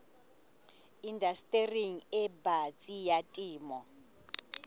indastering e batsi ya temo